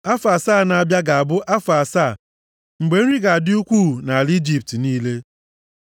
Afọ asaa na-abịa ga-abụ afọ asaa mgbe nri ga-adị ukwuu nʼala Ijipt niile.